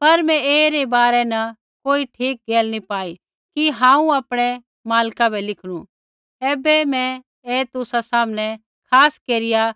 पर मैं ऐईरी बारै न कोई ठीक गैल नी पाई कि हांऊँ आपणै मालक बै लिखनू ऐबै मैं ऐ तुसा सामनै खास केरिया